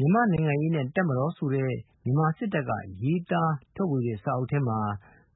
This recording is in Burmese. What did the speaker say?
မြန်မာ့နိုင်ငံရေးနှင့်တပ်မတော်ဆိုတဲ့ မြန်မာစစ်တပ်ကရေးသားတဲ့စာအုပ်ထဲမှာ